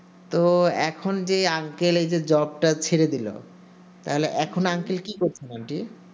তো এখন যে uncle এই যে job টা ছেড়ে দিলো তো এখন uncle কি করছেন aunty